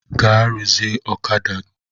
Gaa ruzie ọ̣kada!